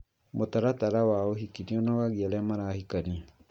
Mũtaratara wa ũhiki nĩũnogagia arĩa marahikania